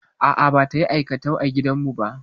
A'a, bata yi aikatau a gidan mu ba.